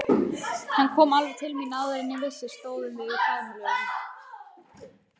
Hann kom alveg til mín og áður en ég vissi stóðum við í faðmlögum.